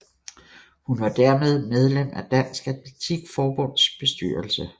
Hun var dermed medlem af Dansk Atletik Forbunds bestyrelsen